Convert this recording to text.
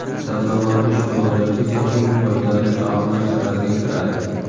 Sabzavotli sho‘rvalar esa eng foydali taomlar sirasiga kiradi.